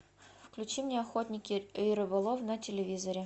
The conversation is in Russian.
включи мне охотник и рыболов на телевизоре